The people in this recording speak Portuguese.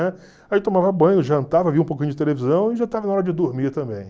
Aí tomava banho, jantava, via um pouquinho de televisão e já estava na hora de dormir também.